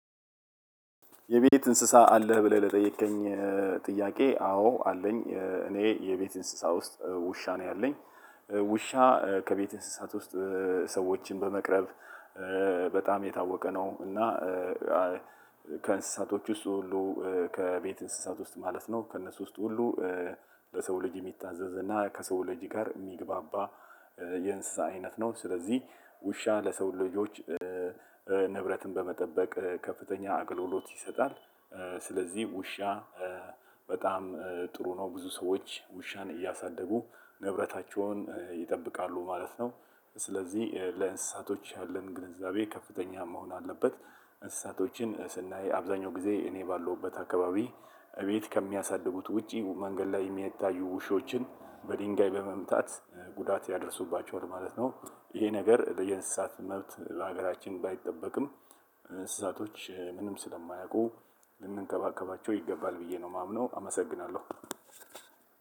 የቤት እንስሳ አለህ ብለህ ለጠየከኝ ጥያቄ አዎ አለኝ። እኔ የቤት እንስሳ ውስጥ ውሻ ነው ያለኝ። ውሻ ከቤት እንስሳት ውስጥ ሰዎችን በመቅረብ በጣም የታወቀ ነው። እና ከእንስሳቶች ውስጥ ሁሉ ከቤት እንስሳት ውስጥ ማለት ነው ከእነሱ ውስጥ ሁሉ ለሰው ልጅ የሚታዘዝ እና ከሰው ልጅ ጋር የሚግባባ የእንስሳ አይነት ነው። ስለዚህ ውሻ ለሰው ልጆች ንብረትን በመጠበቅ ከፍተኛ አገልግሎት ይሰጣል። ስለዚህ ውሻ በጣም ጥሩ ነው ብዙ ሰዎች ውሻን እያሳደጉ ንብረታቸውን ይጠብቃሉ ማለት ነው። ስለዚህ ለእንስሳቶች ያለን ግንዛቤ ከፍተኛ መሆን አለበት። እንስሳቶች ስናይ አብዛኛው ጊዜ እኔ ባለሁበት አካባቢ እቤት ከሚያሳድጉት ውጪ መንገድ ላይ የሚያታዩ ውሾችን በድንጋይ በመምታት ጉዳት ያደርሱባቸውን ማለት ነው። ይሄ ነገር ለየእንስሳት መብት ለሀገራችን ባይጠበቅም እንስሳቶች ምንም ስለማያውቁ ልንንከባከባቸው ይገባል ብዬ ነው የማምነው። አመሰግናለሁ።